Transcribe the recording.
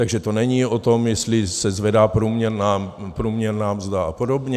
Takže to není o tom, jestli se zvedá průměrná mzda a podobně.